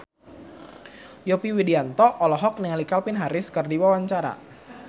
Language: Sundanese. Yovie Widianto olohok ningali Calvin Harris keur diwawancara